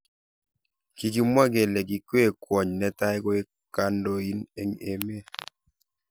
Kikimwa kele kikwei kwony netai koek kandoin eng emet.